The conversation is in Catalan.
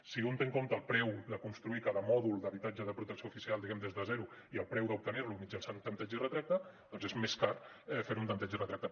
si un té en compte el preu de construir cada mòdul d’habitatge de protecció oficial diguem ne des de zero i el preu d’obtenir lo mitjançant tanteig i retracte doncs és més car fer ho amb tanteig i retracte